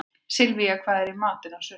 Sylvía, hvað er í matinn á sunnudaginn?